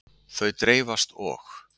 Þau dreifast og.